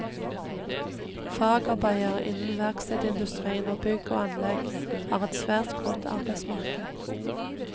Fagarbeidere innen verkstedindustrien og bygg og anlegg har et svært godt arbeidsmarked.